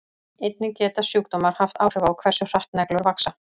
einnig geta sjúkdómar haft áhrif á hversu hratt neglur vaxa